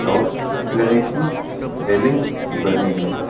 और की रेलिंग बनी है।